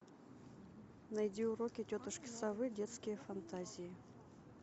найди уроки тетушки совы детские фантазии